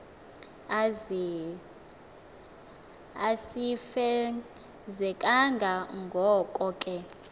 asifezekanga ngoko ke